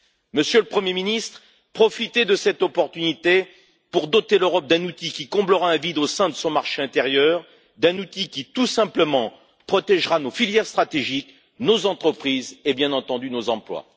Monsieur le Premier ministre, profitez de cette occasion pour doter l'Europe d'un outil qui comblera un vide au sein de son marché intérieur, d'un outil qui, tout simplement, protégera nos filières stratégiques, nos entreprises et, bien entendu, nos emplois.